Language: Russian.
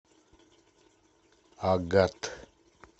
агат